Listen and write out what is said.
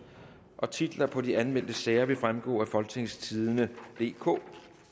titler på de anmeldte sager vil fremgå af folketingstidende DK